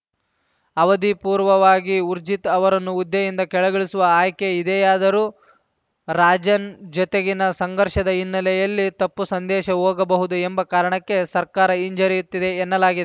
ಅವಧಿಪೂರ್ವವಾಗಿ ಊರ್ಜಿತ್‌ ಅವರನ್ನು ಹುದ್ದೆಯಿಂದ ಕೆಳಗಿಳಿಸುವ ಆಯ್ಕೆ ಇದೆಯಾದರೂ ರಾಜನ್‌ ಜತೆಗಿನ ಸಂಘರ್ಷದ ಹಿನ್ನೆಲೆಯಲ್ಲಿ ತಪ್ಪು ಸಂದೇಶ ಹೋಗಬಹುದು ಎಂಬ ಕಾರಣಕ್ಕೆ ಸರ್ಕಾರ ಹಿಂಜರಿಯುತ್ತಿದೆ ಎನ್ನಲಾಗಿದ್